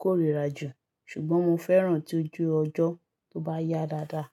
kórìíra jù. Ṣùgbọ́n mo fẹ́ràn tí ojú ọjọ́ tó bá yá dáadáa.